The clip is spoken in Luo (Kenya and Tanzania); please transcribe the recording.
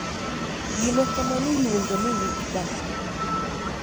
gima kamano iluongo ni wich bar